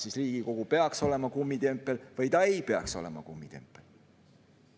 Kas Riigikogu peaks olema kummitempel või ei peaks olema kummitempel?